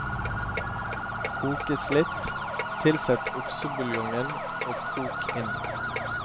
Kokes litt, tilsett oksebuljongen og kok inn.